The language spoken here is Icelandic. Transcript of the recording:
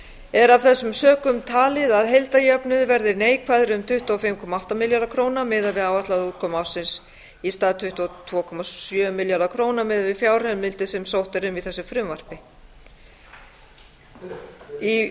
er af þessum sökum talið að heildarjöfnuður verði neikvæður um tuttugu og fimm komma átta milljarða króna miðað við áætlaða útkomu ársins í stað um tuttugu og tvö komma sjö milljarða króna miðað við fjárheimildir sem sótt er um í þessu frumvarpinu í umfjöllun